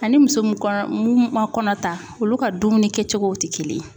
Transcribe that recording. Ani muso mun kɔnɔ mun ma kɔnɔ ta olu ka dumuni kɛcogow ti kelen ye.